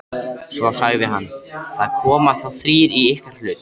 Svo sagði hann: Það koma þá þrír í ykkar hlut.